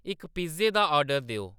इक पिज्ज़े दा ऑर्डर देओ